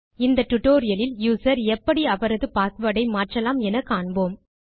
இந்த டியூட்டோரியல் லில் யூசர் எப்படி அவரது பாஸ்வேர்ட் ஐ மாற்றலாம் என காண்போம்